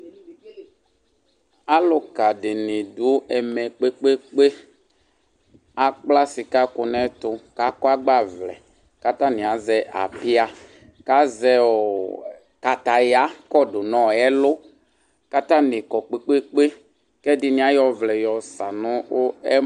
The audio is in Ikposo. aluka dini du ɛmɛ kpékpékpé akpla sika kũ nɛtũ kakɔ agbavlɛ katani azɛ apia kazɛõõ kataya kõdu nõõ ɛlu katani kõ kpékpékpé kɛdini ayõ ɔvlɛ nu ɔ ɛ